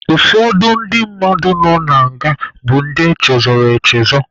Ụfọdụ ndị mmadụ nọ na nga bụ ndị echezọrọ echezọ.